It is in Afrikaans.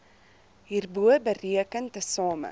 hierbo bereken tesame